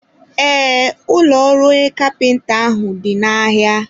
ee, ụlọ ọrụ onye kapịnta ahụ dị n'ahịa.